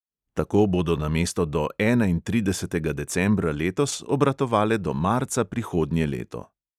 Tako bodo namesto do enaintridesetega decembra letos obratovale do marca prihodnje leto.